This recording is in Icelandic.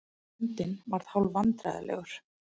Bóndinn varð hálf vandræðalegur.